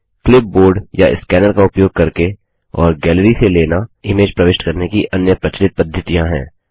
clipboard या scanner का उपयोग करके और गैलरी से लेना इमेज प्रविष्ट करने की अन्य प्रचलित पद्धतियाँ हैं